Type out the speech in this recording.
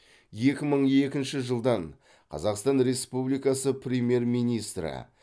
екі мың екінші жылдан қазақстан республикасы премьер министрі